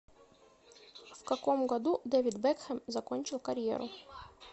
в каком году дэвид бекхэм закончил карьеру